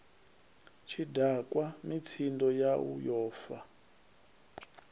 tshidakwa mitsindo yau yo fa